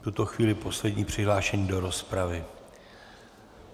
V tuto chvíli poslední přihlášený do rozpravy.